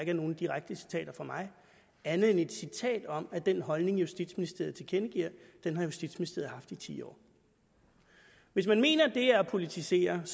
er nogen direkte citater fra mig andet end et citat om at den holdning justitsministeriet tilkendegiver har justitsministeriet haft i ti år hvis man mener at det er at politisere